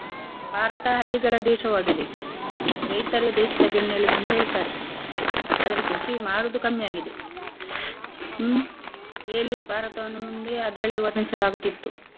ಭಾರತ ಹಳ್ಳಿಗಳ ದೇಶವಾಗಿದೆ ರೈತರೇ ದೇಶದ ಬೆನ್ನೆಲುಬು ಎಂದು ಹೇಳ್ತಾರೆ. ಆದ್ರೆ ಕೃಷಿ ಮಾಡುದು ಕಮ್ಮಿ ಆಗಿದೆ ಹ್ಮ್ ಹೇಳಿ ಭಾರತವನ್ನು ಮುಂದೇ ಅದ್ರಲ್ಲಿ ವರ್ಣಿಸಲಾಗುತ್ತಿತ್ತು.